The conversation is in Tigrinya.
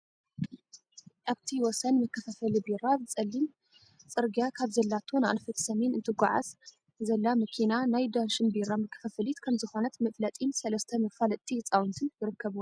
ኣብቲ ወሰን መከፋፈሊ ቢራ ፀሊም ፅርግያ ካብ ዘላቶ ንኣንፈት ሰሜን እትጓዓዝ ዘላ መኪና ናይ ዳሽቢራ መከፋፈሊት ከም ዝኾነት መፍለጢን ሰለስተ መፋለጥቲ ህፃውንትን ይርከብዋ፡፡